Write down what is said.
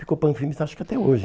Ficou Panfilmes, acho que até hoje.